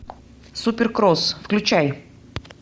суперкросс включай